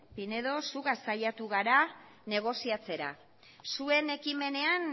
pinedo zugaz saiatu gara negoziatzera zure ekimenean